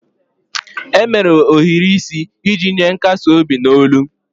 E mere ohiri isi iji nye nkasi obi n'olu